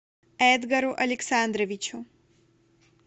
эдгару александровичу